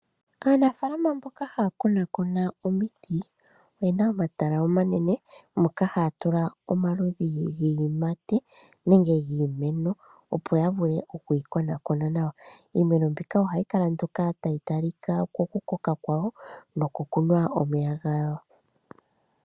Aanafaalama mboka haa konakona omiti oye na omatala omanene moka haa tula omaludhi giiyimati nenge giimeno, opo ya vule oku yi konakona nawa. Iimeno mbika ohayi kala mpoka tayi talika kokukoka kwayo nokokunwa omeya gayo.